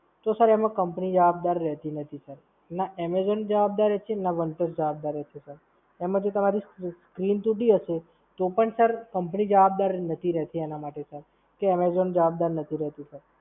તો Sir એમાં Company જવાબદાર રહેતી નથી Sir. ના Amazon જવાબદાર રહે છે, ના વન પ્લસ જવાબદાર રહે છે sir. એમાં જો તમારી screen તૂટી હશે, તો પણ Sir Company જવાબદાર નથી રહેતી એના માટે Sir. કે Amzon જવાબદાર નથી રહેતી Sir